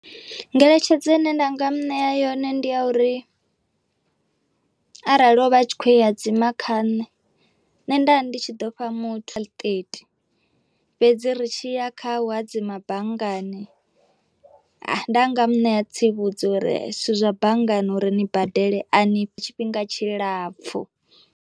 Ngeletshedzo ine nda nga muṋea yone ndi ya uri arali o vha tshi kho i hadzima kha nne, nne nda ndi tshi ḓo fha fhedzi ri tshi ya kha u hadzima banngani nda nga ṋea tsivhudza uri zwithu zwa banngani uri ni badele a ni tshifhinga tshilapfhu.